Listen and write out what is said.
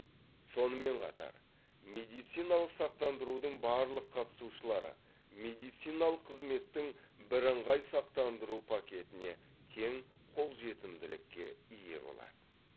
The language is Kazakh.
сонымен қатар медициналық сақтандырудың барлық қатысушылары медициналық қызметтің бірыңғай сақтандыру пакетіне тең қолжетімділікке ие болады